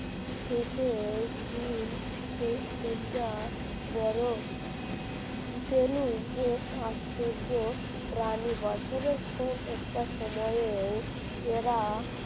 শীতের দিন বড় এক আশ্চর্য প্রাণী বছরের কোন একটা সময়ে এরা